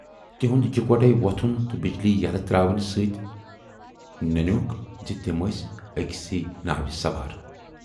تِہُند یِکوٹے وۅتھُن تہٕ بجلی یلہٕ تراونہٕ سۭتۍ ننٮ۪وکھ زِ تِم ٲسۍ ٲکۍسٕے ناوِ سوار۔